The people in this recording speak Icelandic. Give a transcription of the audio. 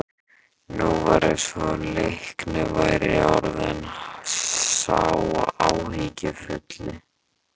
Nú var eins og Leiknir væri orðinn sá áhyggjufulli.